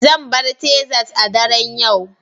Zan bar Texas a daren yau